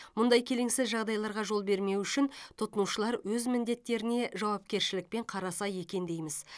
мұндай келеңсіз жағдайларға жол бермеу үшін тұтынушылар өз міндеттеріне жауапкершілікпен қараса екен дейміз